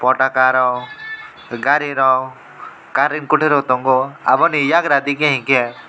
paka rok gari rok gari kutui rok tongo obo ni eiagra enke.